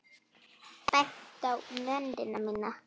Bent á mennina mína.